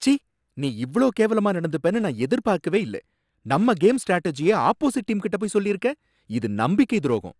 சீ! நீ இவ்ளோ கேவலமா நடந்துப்பனு நான் எதிர்பார்க்கவே இல்ல, நம்ம கேம் ஸ்ட்ராடஜிய ஆப்போஸிட் டீம் கிட்ட போய் சொல்லிருக்க, இது நம்பிக்கை துரோகம்.